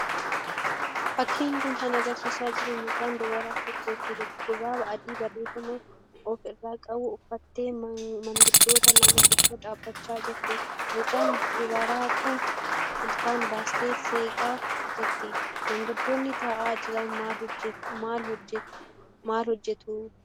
Fakkiin kun kan agarsiisaa jiru mucaan dubaraa tokko shurraaba adii barreeffama ofi irraa qabu uffattee maanguddoota lama gidduu dhaabbachaa jirti. Mucaan dubaraa kun ilkaan baastee seeqaa jirti. Manguddoonni ta'aa jiran maal hojjetu?